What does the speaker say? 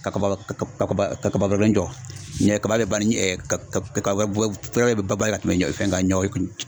Ka kaba